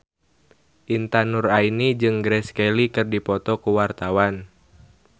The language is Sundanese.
Intan Nuraini jeung Grace Kelly keur dipoto ku wartawan